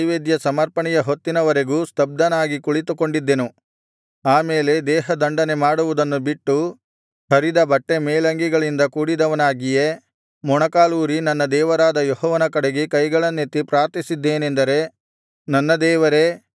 ನಾನು ಸಂಧ್ಯಾ ನೈವೇದ್ಯ ಸಮರ್ಪಣೆಯ ಹೊತ್ತಿನವರೆಗೂ ಸ್ತಬ್ಧನಾಗಿ ಕುಳಿತುಕೊಂಡಿದ್ದೆನು ಆ ಮೇಲೆ ದೇಹದಂಡನೆಮಾಡುವುದನ್ನು ಬಿಟ್ಟು ಹರಿದ ಬಟ್ಟೆಮೇಲಂಗಿಗಳಿಂದ ಕೂಡಿದವನಾಗಿಯೇ ಮೊಣಕಾಲೂರಿ ನನ್ನ ದೇವರಾದ ಯೆಹೋವನ ಕಡೆಗೆ ಕೈಗಳನ್ನೆತ್ತಿ ಪ್ರಾರ್ಥಿಸಿದ್ದೇನೆಂದರೆ